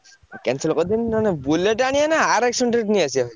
ଆଉ cancel କରିଦେବି ନହେଲେ Bullet ଆଣିଆ ନା RS hundred ନେଇଆସିଆ?